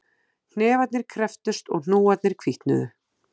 Hnefarnir krepptust og hnúarnir hvítnuðu